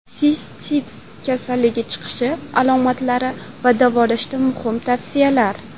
Sistit: kelib chiqishi, alomatlari va davolashda muhim tavsiyalar.